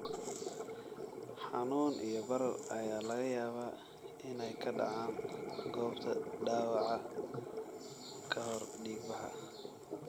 Xanuun iyo barar ayaa laga yaabaa inay ka dhacaan goobta dhaawaca ka hor dhiigbaxa.